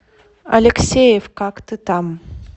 алексеев как ты там